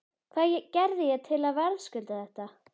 Hvað gerði ég til að verðskulda þetta?